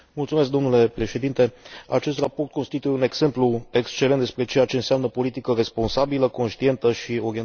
Acest raport constituie un exemplu excelent despre ceea ce înseamnă politică responsabilă, conștientă și orientată către progres economic.